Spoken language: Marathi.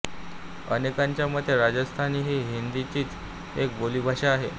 अनेकांचे मते राजस्थानी ही हिंदीचीच एक बोलीभाषा आहे